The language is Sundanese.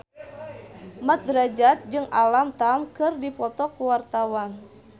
Mat Drajat jeung Alam Tam keur dipoto ku wartawan